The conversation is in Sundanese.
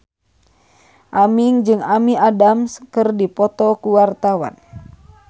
Aming jeung Amy Adams keur dipoto ku wartawan